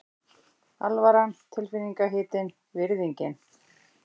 Alvaran tilfinningahitinn, virðingin.